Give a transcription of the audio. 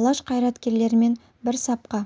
алаш қайраткерлерімен бір сапқа